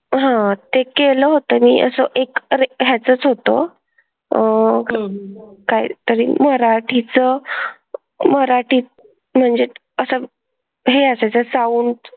हां ते केलं होतं मी असं एक अरे ह्याचंच होतं. अह कायतरी मराठीत मराठीत म्हणजे असा हे असायचा sound.